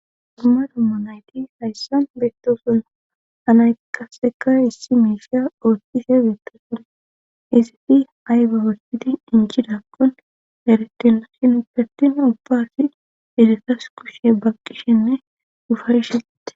dumma dommo nayti hayssan beettosona anay qasseka issi miishiya oottise beettooson isifi ayba wolpiti incidakkon eretina shin idartin ubbaasi edetas kushe baqqishenne dufarshite